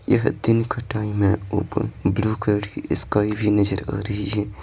यह दिन का टाइम है ऊपर ब्लू कलर की स्काई भी नजर आ रही है।